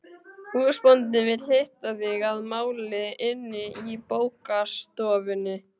Húsbóndinn vill hitta þig að máli inni í bókastofunni.